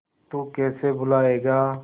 तू कैसे भूलाएगा